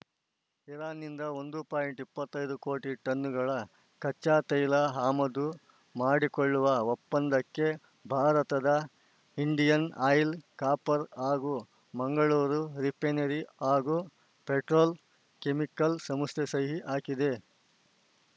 ಇರಾನ್‌ನಿಂದ ಒಂದು ಪಾಯಿಂಟ್ ಇಪ್ಪತ್ತೈದು ಕೋಟಿ ಟನ್‌ಗಳ ಕಚ್ಚಾ ತೈಲ ಹಮದು ಮಾಡಿಕೊಳ್ಳುವ ಒಪ್ಪಂದಕ್ಕೆ ಭಾರತದ ಇಂಡಿಯನ್‌ ಆಯಿಲ್‌ ಕಾಪ್‌ರ್ ಹಾಗೂ ಮಂಗಳೂರು ರಿಪೇನರಿ ಹಾಗೂ ಪೆಟ್ರೋಲ್ ಕೆಮಿಕಲ್ಸ್‌ ಸಂಸ್ಥೆ ಸಹಿ ಹಾಕಿದೆ